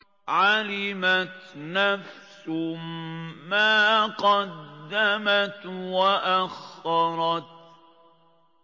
عَلِمَتْ نَفْسٌ مَّا قَدَّمَتْ وَأَخَّرَتْ